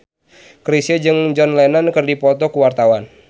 Chrisye jeung John Lennon keur dipoto ku wartawan